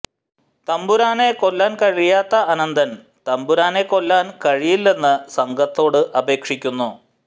തമ്പുരാനെ കൊല്ലാൻ കഴിയാത്ത അനന്തൻ തമ്പുരാനെ കൊല്ലാൻ കഴിയില്ലെന്ന് സംഘത്തോട് അപേക്ഷിക്കുന്നു